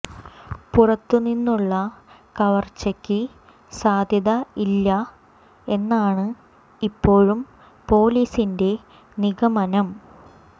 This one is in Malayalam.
പുറത്ത് നിന്നുള്ള കവര്ച്ചയ്ക്ക് സാധ്യത ഇല്ല എന്നാണ് ഇപ്പോഴും പൊലീസിന്റെ നിഗമനം